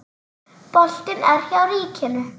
Boltinn er hjá ríkinu.